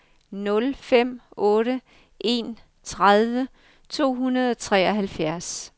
nul fem otte en tredive to hundrede og treoghalvfjerds